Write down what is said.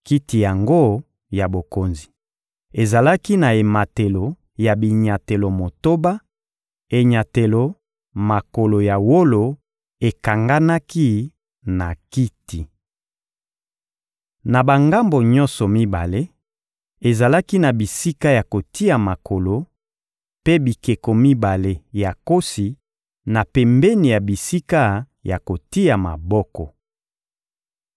Kiti yango ya bokonzi ezalaki na ematelo ya binyatelo motoba, enyatelo makolo ya wolo ekanganaki na kiti. Na bangambo nyonso mibale, ezalaki na bisika ya kotia maboko, mpe bikeko mibale ya nkosi na pembeni ya bisika ya kotia maboko.